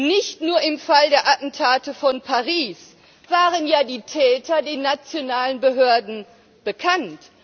Nicht nur im Fall der Attentate von Paris waren ja die Täter den nationalen Behörden bekannt!